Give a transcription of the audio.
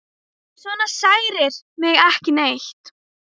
Svona særir mig ekki neitt.